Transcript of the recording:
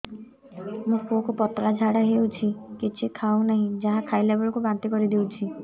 ମୋ ପୁଅ କୁ ପତଳା ଝାଡ଼ା ହେଉଛି କିଛି ଖାଉ ନାହିଁ ଯାହା ଖାଇଲାବେଳକୁ ବାନ୍ତି କରି ଦେଉଛି